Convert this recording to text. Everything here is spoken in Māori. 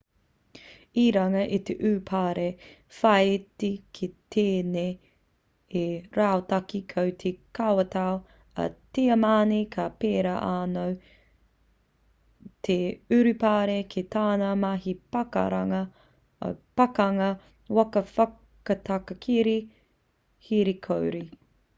i runga i te urupare whāiti ki tēnei rautaki ko te kawatau a tiamani ka pērā anō te urupare ki tāna mahi pakanga waka whakatakere here kore